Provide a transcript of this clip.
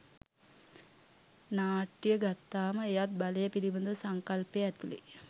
නාට්‍ය ගත්තාම එයත් බලය පිළිබඳ සංකල්පය ඇතුළේ